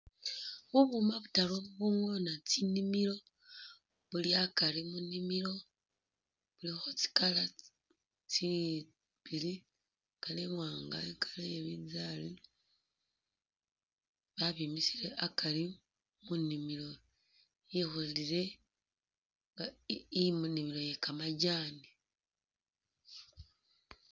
Bubuma butaru bubungona tsinimilo buli akari mu nimilo bulikho tsikala tsibili. I'colour iwaanga ni i'colour ye bibinzari babimisile akari mu nimilo ikholile nga imu inimilo ye kamajaani.